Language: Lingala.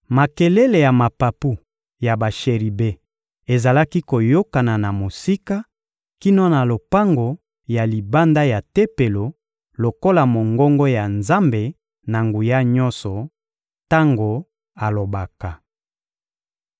Makelele ya mapapu ya basheribe ezalaki koyokana na mosika kino na lopango ya libanda ya Tempelo lokola mongongo ya Nzambe-Na-Nguya-Nyonso, tango alobaka.